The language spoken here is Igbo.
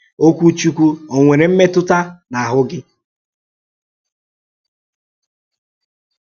Òkwù Chúkwù ò nwere m̀mètù n’áhụ́́ gị?